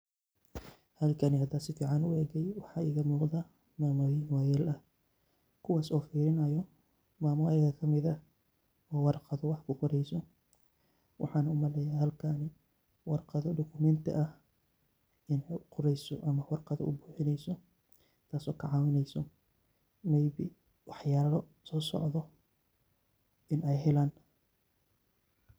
Halkani hadaa si ficaan u eegay waxaa iiga muqdaa maamooyin waayeel ah. Kuwaas oo firinaayo maamo ayiga ka mid ah oo warqad wax ku qorayso. Waxaan u maleya halkan warqado dokumenti ah in u qorayso ama warqado u buuxinayso taas oo ka caawinayso maybe wax yaalo soo socdo in ay helaan